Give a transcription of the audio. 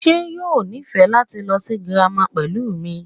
ṣe yoo nifẹ lati lọ si Germany pẹlu mi?